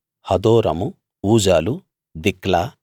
హదోరము ఊజాలు దిక్లా